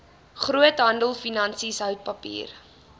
groothandelfinansies hout papier